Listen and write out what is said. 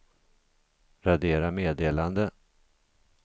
radera meddelande